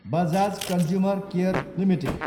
Bajaj consumer care Ltd